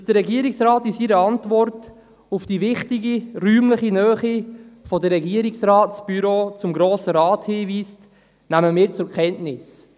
Dass der Regierungsrat in seiner Antwort auf die wichtige räumliche Nähe der Regierungsratsbüros zum Grossen Rat hinweist, nehmen wir zur Kenntnis.